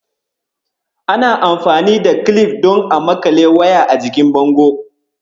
Ana amfani da kilif don a maƙale waya a jikin bango.